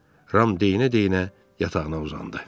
Ram deyinə-deyinə yatağına uzandı.